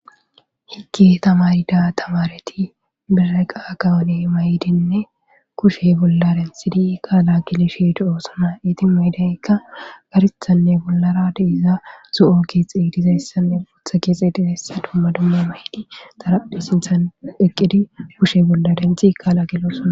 hikki tamarida tamareti bire qa kawone may7idinne kushe bolla denthidi kaala gilishi do7oosona iti maydeykka garithanne bollara diiza zu7o kixey dizayssanne putha keexee dizayssa dumma dumma maydi tarapphi sinthan eqqidi kushe bolla denthi kaala gilo sona